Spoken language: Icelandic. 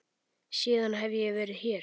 Síðan hef ég verið hér.